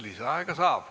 Lisaaega saab.